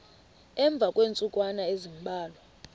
emva kweentsukwana ezimbalwa